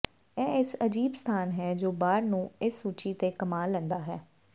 ਇਹ ਇਸ ਅਜੀਬ ਸਥਾਨ ਹੈ ਜੋ ਬਾਰ ਨੂੰ ਇਸ ਸੂਚੀ ਤੇ ਕਮਾ ਲੈਂਦਾ ਹੈ